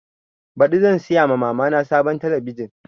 Baɗi zan siya ma mama na sabuwar talabijin